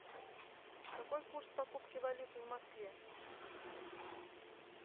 какой курс покупки валюты в москве